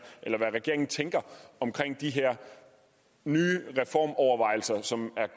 eller hvad regeringen tænker om de her nye reformovervejelser som